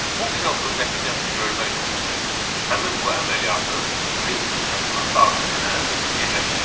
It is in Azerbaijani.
Funksiyamızın nəticəsini görmək üçün həmin bu əməliyyatı print funksiyasının daxilinə yerləşdiririk.